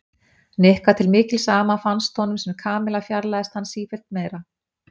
Nikka til mikils ama fannst honum sem Kamilla fjarlægðist hann sífellt meira.